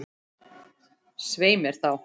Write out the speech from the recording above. Svei mér þá.